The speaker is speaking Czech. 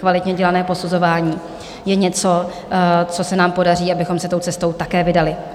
Kvalitně dělané posuzování je něco, co se nám podaří, abychom se tou cestou také vydali.